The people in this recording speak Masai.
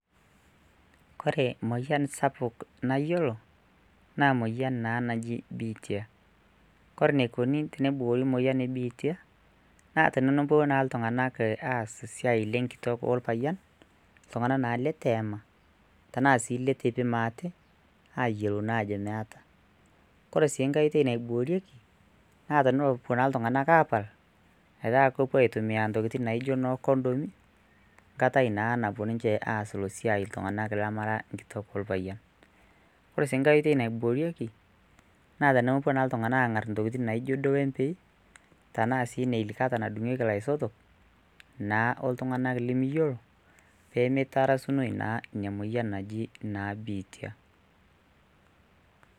kore moyian sapuk nayiolo naa moyian naa naji biitia kore nikoni teniboori moyian ebiitia naa tonomopuo naa iltung'anak aas siai lenkitok olpayian iltung'anak naa leti eyama tenaa sii leti ipim ate ayiolou naa ajo meeta kore sii nkae oitei naiboorieki naa tonopuo naa iltung'anak apal ataa kopuo aitumia ntokitin naijo noo kondomi inkatai naa napuo ninche aas ilo siai iltung'anak lemara nkitok olpayian ore sii nkae oitei naiboorieki naa tenemopuo naa iltung'anak ang'arr intokitin naijo duo wembei tenaa sii nail cutter nadung'ieki ilaisotok naa oltung'anak lemiyiolo peemitarasunoi naa inia emoyian naji naa biitia.